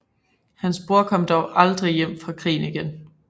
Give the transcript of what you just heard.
Hans bror kom dog aldrig hjem fra krigen igen